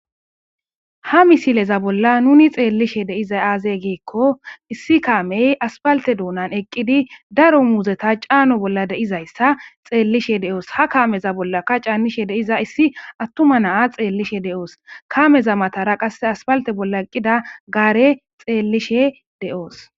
Ha misileza bolla nun xeellizay de7iza aazey giikko issi kaamey aspalte duunan eqqidi daro muuzeta caano bolla deizayssa xeellishe de7oos. Ha kaameza bollaka caannishe deiza issi attuma naa xeellishe de7oos.kameza matara qasse aspalte bolla eqqida gaare xeellishe de7oos.